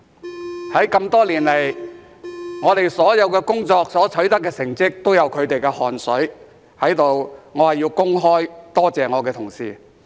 在這麼多年來，我們所有的工作所取得的成績均有他們的汗水，在此我要公開多謝我的同事。